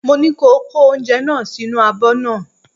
Mo ní ko kó oúnjẹ náà sínú abọ́ náà!